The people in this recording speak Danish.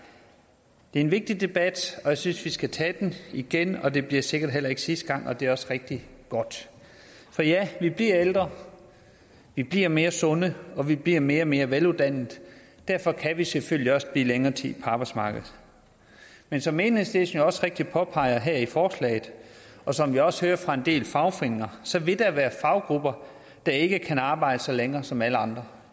det er en vigtig debat og jeg synes vi skal tage den igen det bliver sikkert heller ikke sidste gang og det er også rigtig godt for ja vi bliver ældre vi bliver mere sunde og vi bliver mere og mere veluddannede og derfor kan vi selvfølgelig også blive længere tid på arbejdsmarkedet men som enhedslisten jo også rigtigt påpeger her i forslaget og som vi også hører fra en del fagforeninger så vil der være faggrupper der ikke kan arbejde så længe som alle andre